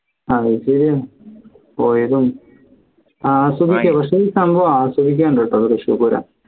അത് ശരിയാണ് പോയതും ആസ്വദിക്കാ പക്ഷേ ഈ സംഭവം ആസ്വദിക്കാൻ ഉണ്ട്ട്ടോ തൃശ്ശൂർ പൂരം